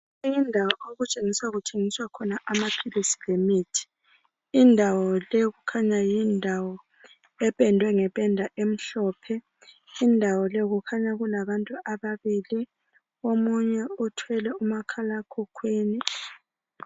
Indawo okutshengiswa kuthengiswa khona amaphilisi lemithi, indawo le kukhanya yindawo ependwe ngependa emnhlophe. Indawo le kukhanya kulabantu ababili, omunye othwele umakhala emkhukhwini.